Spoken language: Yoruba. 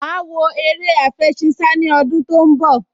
Màá wo eré àfẹṣinsá ní ọdún tó ń bọ̀